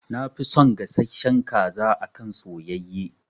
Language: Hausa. Na fi son gasashshen kaza akan soyayye